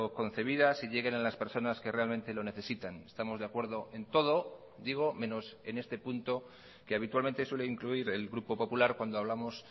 concebidas y lleguen a las personas que realmente lo necesitan estamos de acuerdo en todo digo menos en este punto que habitualmente suele incluir el grupo popular cuando hablamos